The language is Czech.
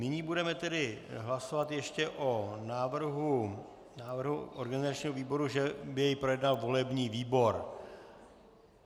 Nyní budeme tedy hlasovat ještě o návrhu organizačního výboru, že by jej projednal volební výbor.